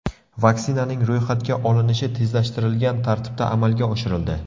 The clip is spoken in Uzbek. Vaksinaning ro‘yxatga olinishi tezlashtirilgan tartibda amalga oshirildi.